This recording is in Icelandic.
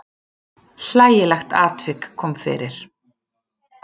Hlægilegt atvik kom fyrir.